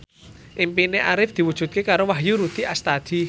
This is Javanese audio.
impine Arif diwujudke karo Wahyu Rudi Astadi